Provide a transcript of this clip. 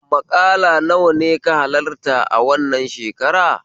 Maƙala nawa ne ka halarta wannan shekara?